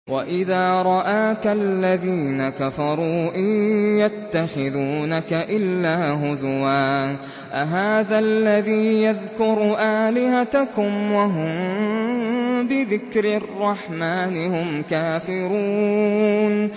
وَإِذَا رَآكَ الَّذِينَ كَفَرُوا إِن يَتَّخِذُونَكَ إِلَّا هُزُوًا أَهَٰذَا الَّذِي يَذْكُرُ آلِهَتَكُمْ وَهُم بِذِكْرِ الرَّحْمَٰنِ هُمْ كَافِرُونَ